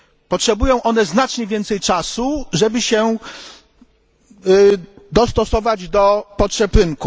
Potrzebują one znacznie więcej czasu, żeby się dostosować do potrzeb rynku.